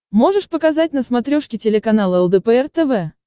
можешь показать на смотрешке телеканал лдпр тв